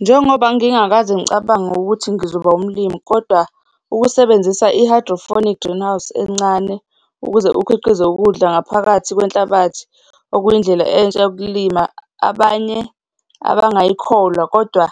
Njengoba ngingakaze ngicabange ukuthi ngizoba umlimi, kodwa ukusebenzisa i-hydroponic greenhouses encane, ukuze ukhiqize ukudla ngaphakathi kwenhlabathi okuyindlela entsha yokulima, abanye abangayikholwa kodwa